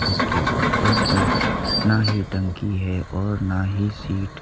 इसके ऊपर की नाही टंकी है और नाही सीट ।